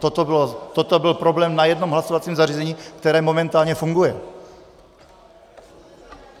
Toto byl problém na jednom hlasovacím zařízení, které momentálně funguje.